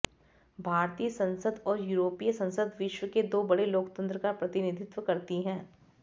भारतीय संसद और यूरोपीय संसद विश्व के दो बड़े लोकतंत्र का प्रतिनिधित्व करती हैं